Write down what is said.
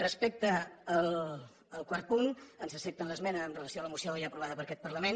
respecte al quart punt ens accepten l’esmena amb relació a la moció ja aprovada per aquest parlament